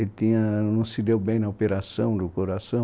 Que tinha... Ele não se deu bem na operação do coração.